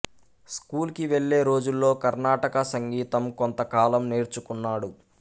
school కి వెళ్ళే రోజుల్లో కర్ణాటక సంగీతం కొంత కాలం నేర్చుకున్నాడు